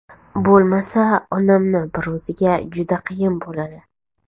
Bo‘lmasa onamni bir o‘ziga juda qiyin bo‘ladi.